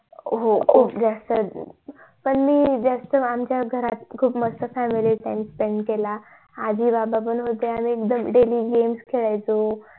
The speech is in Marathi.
हो खूप जास्त च पण मी जास्त आमच्या घरत खूप मस्त family time spend केला आजी बाबा पण होते आणि daily games खेळायचो